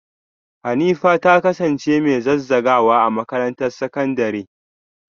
Hanifa ta kasance mai zazzagawa a makarantar sakandare?